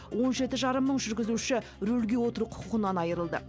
он жеті жарым мың жүргізуші рөлге отыру құқығынан айырылды